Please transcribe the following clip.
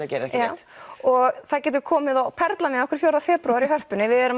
að gera já og það getur komið og perlað með okkur fjórða febrúar í Hörpunni við erum